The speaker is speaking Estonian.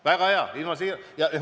Väga hea.